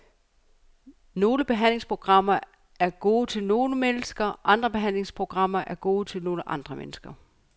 Nogle behandlingsprogrammer er gode til nogle mennesker, andre behandlingsprogrammer er gode til nogle andre mennesker.